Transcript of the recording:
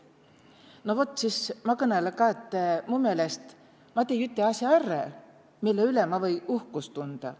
No vot, siis ma kõnõlõ ka, et mu meelest ma tei üte asja är, mille üle ma või uhkust tundä.